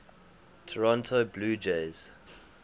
toronto blue jays